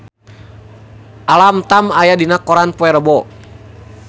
Alam Tam aya dina koran poe Rebo